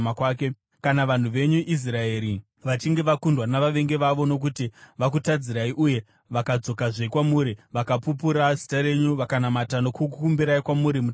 “Kana vanhu venyu Israeri vachinge vakundwa navavengi vavo, nokuti vakutadzirai, uye vakadzokazve kwamuri, vakapupura zita renyu, vakanamata nokukumbira kwamuri mutemberi, ino,